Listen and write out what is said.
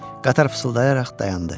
Qatar fısıldayaraq dayandı.